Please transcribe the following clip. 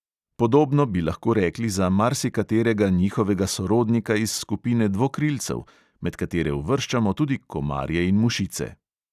Podobno bi lahko rekli za marsikaterega njihovega sorodnika iz skupine dvokrilcev, med katere uvrščamo tudi komarje in mušice.